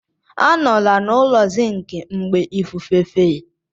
Anọla n'ụlọ zinc mgbe ifufe fe!